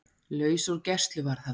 Laus úr gæsluvarðhaldi